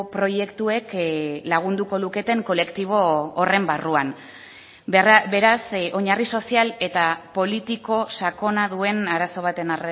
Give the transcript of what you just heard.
proiektuek lagunduko luketen kolektibo horren barruan beraz oinarri sozial eta politiko sakona duen arazo baten